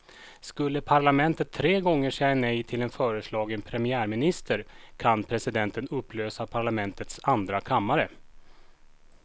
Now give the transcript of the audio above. Skulle parlamentet tre gånger säga nej till en föreslagen premiärminister kan presidenten upplösa parlamentets andra kammare.